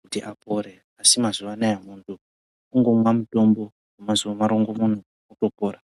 kuti apore. Asi mazuva anaya muntu kungomwa mutombo kwemazuva marongomuna muntu otopora.